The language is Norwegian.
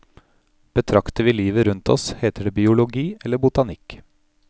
Betrakter vi livet rundt oss, heter det biologi eller botanikk.